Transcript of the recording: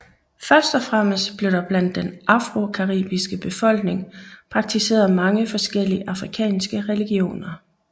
Først og fremmest blev der blandt den afrocaribiske befolkning praktiseret mange forskellige afrikanske religioner